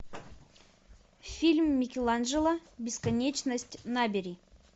фильм микеланджело бесконечность набери